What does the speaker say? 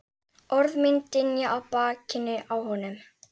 Orð mín dynja á bakinu á honum.